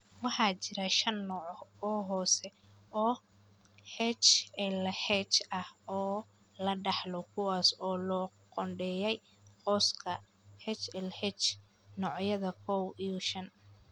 Waxaa jira shan nooc oo hoose oo HLH ah oo la dhaxlo kuwaas oo loo qoondeeyay qoyska HLH, noocyada kow iyo shan.